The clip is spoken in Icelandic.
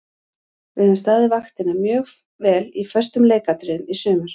Við höfum staðið vaktina mjög vel í föstum leikatriðum í sumar.